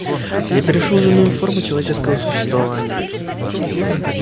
я перешёл в иную форму человеческого существования